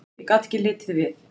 Ég gat ekki litið við.